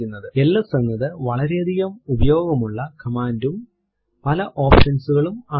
LS എന്നത് വളരെയധികം ഉപയോഗമുള്ള command ഉം പല options കളുള്ളതും ആണ്